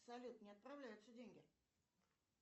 салют не отправляются деньги